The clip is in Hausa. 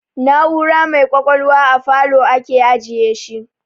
Na'ura mai kwakwalwa a falow ake ajiyeshi